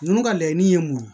Ninnu ka laɲini ye mun ye